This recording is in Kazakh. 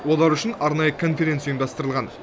олар үшін арнайы конференция ұйымдастырылған